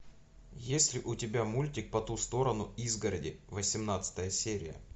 есть ли у тебя мультик по ту сторону изгороди восемнадцатая серия